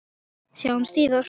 Sjáumst síðar!